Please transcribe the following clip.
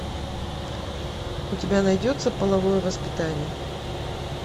у тебя найдется половое воспитание